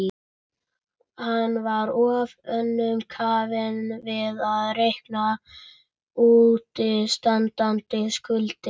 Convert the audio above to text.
Hann var of önnum kafinn við að reikna útistandandi skuldir.